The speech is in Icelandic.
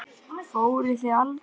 Fóruð þið aldrei?